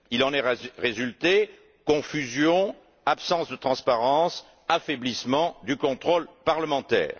Il en est résulté confusion, absence de transparence et affaiblissement du contrôle parlementaire.